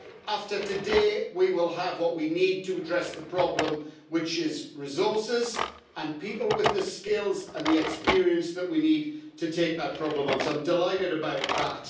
After today, we will have what we need to address the problem, which is resources and people with the skills and the experience that we need to take that problem on, so I am delighted about that.